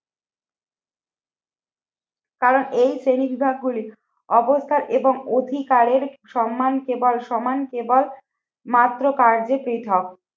কারণ এই শ্রেণীবিভাগ গুলি অবস্থা এবং অধিকারের সম্মান কেবল সমান কেবল মাত্র কার্যে পৃথক।